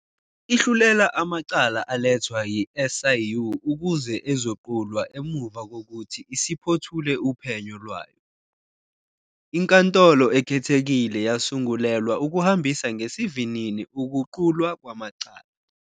Ihlulela amacala alethwa i-SIU ukuze ezoqulwa emuva kokuthi isiphothule uphenyo lwayo. INkantolo Ekhethekile yasungulelwa ukuhambisa ngesivinini ukuqulwa kwamacala.